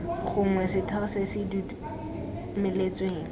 gongwe setheo se se dumeletsweng